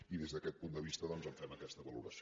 i des d’aquest punt de vista doncs en fem aquesta valoració